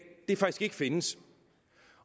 faktisk ikke findes